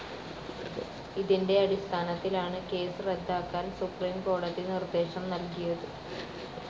ഇതിന്റെ അടിസ്ഥാനത്തിലാണ് കേസ് റദ്ദാക്കാൻ സുപ്രീം കോടതി നിർദ്ദേശം നൽകിയത്.